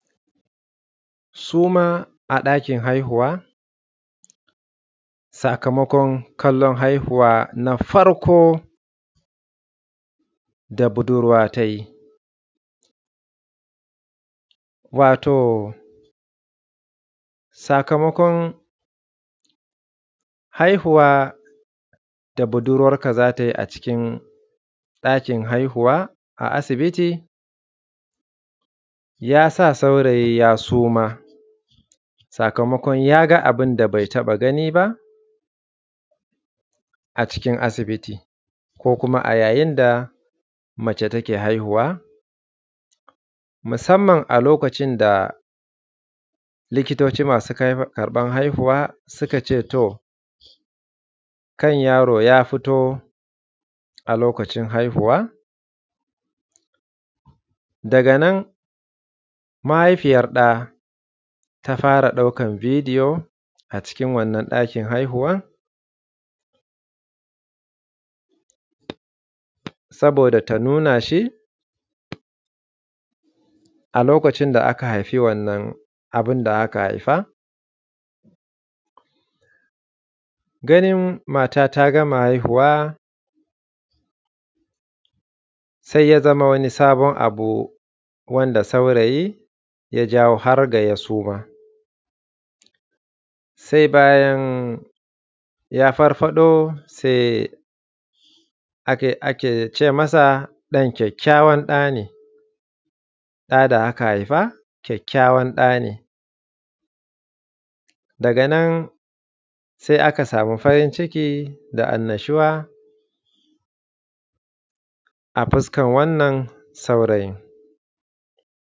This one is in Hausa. Suma a ɗakin haihuwa sakamakon kallon, sakamakon kallon haihuwa na farko da budurwa ta yi wato sakamakon haihuwa da budurwarka za ta yi a cikin ɗakin haihuwa a asibiti ya sa saurayi ya suma. Sakamakon yaga abun da be taɓa gani a cikin asibiti ko kuma a yayin da mace take haihuwa musamman a lokacin da likitoci masu karɓan haihuwa suka ce, to kan yaro ya fito a lokacin haihuwa daga nan mahaifin ya fara ɗaukan bidiyo a cikin wannan ɗakin haihuwan, saboda ta nuna shi a lokacin da aka haifi wannan abun da aka haifa ganin mata ta gama haihuwa sai ya zama wani sabon abu wanda saurayi ya jawo har da ya suma. Se bayan ya farfarɗo se ake ce masa ɗan kakkayawan ɗa ne ɗa ta haifa kakkayawan ɗa ne daga nan se aka samu farin ciki da annashuwa a fuskan wannan saurayin.